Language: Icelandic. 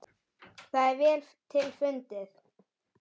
Það er vel til fundið.